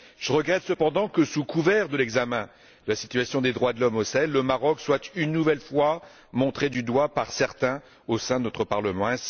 Je regrette cependant que, sous couvert de l'examen de la situation des droits de l'homme au Sahel, le Maroc soit, une nouvelle fois, montré du doigt par certains au sein de notre Parlement.